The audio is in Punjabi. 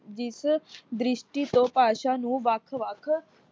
ਜਿਸ ਦ੍ਰਿਸ਼ਟੀ ਤੋਂ ਭਾਸ਼ਾ ਨੂੰ ਵੱਖ-ਵੱਖ